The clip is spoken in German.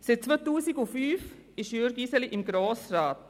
Seit 2005 sitzt Jürg Iseli im Grossen Rat.